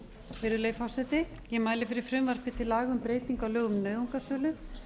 fjögur virðulegi forseti ég mæli fyrir frumvarpi til laga um breytingu á lögum um nauðungarsölu